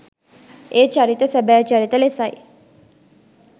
ඒ චරිත සැබෑ චරිත ලෙසයි